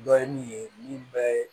Dɔ ye min ye min bɛɛ